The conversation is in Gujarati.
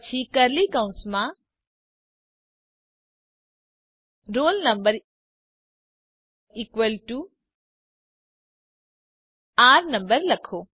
પછી કર્લી કૌસમાં roll number equal to r no લખો